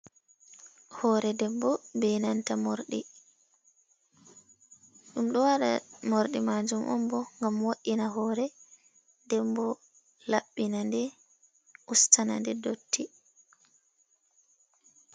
Hore debbo be nanta morɗi. Ɗum ɗo waɗa morɗi majum on bo ngam wo'ina hore, nden bo laɓɓina nde, ustana nde dotti.